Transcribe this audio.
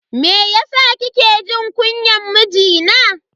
Meyasa kike jin kunyan mijina?